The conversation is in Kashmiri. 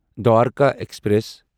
دوارکا ایکسپریس